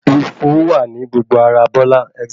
Ifó wà ní gbogbo ará Bọ́lá.